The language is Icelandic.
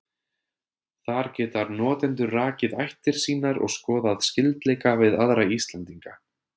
Þar geta notendur rakið ættir sínar og skoðað skyldleika við aðra Íslendinga.